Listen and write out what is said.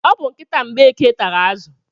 O bu nkịta Mgbeke tara azụ.